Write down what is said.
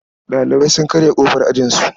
Ɗalibai sun karya ƙofar ajinsu.